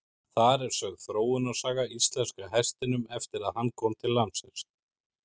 Þar er sögð þróunarsaga íslenska hestinum eftir að hann kom til landsins.